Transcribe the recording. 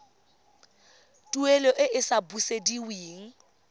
tuelo e e sa busediweng